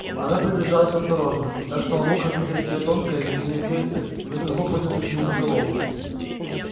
она приближалась осторожно так что он мог рассмотреть её тонкое змеиное тельце и высоко поднятую змеиную головку